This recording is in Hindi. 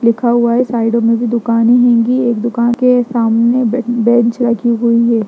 लिखा हुआ है साइडों में भी दुकानें होंगी एक दुकान के सामने बेन बेन्च रखी हुई है।